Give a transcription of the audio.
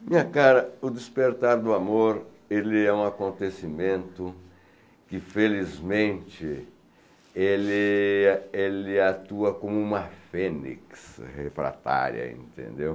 Minha cara, o despertar do amor é um acontecimento que, felizmente, ele ele atua como uma fênix refratária, entendeu?